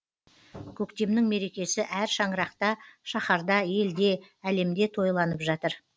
көктемнің мерекесі әр шаңырақта шаһарда елде әлемде тойланып жатыр